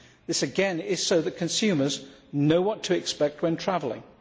This again is so that consumers know what to expect when travelling.